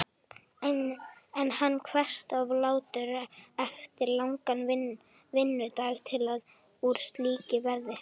En hann kveðst of latur eftir langan vinnudag til að úr slíku verði.